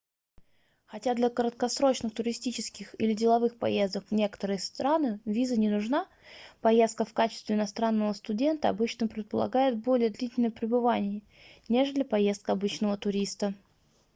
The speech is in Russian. хотя для краткосрочных туристических или деловых поездок в некоторые страны виза не нужна поездка в качестве иностранного студента обычно предполагает более длительное пребывание нежели поездка обычного туриста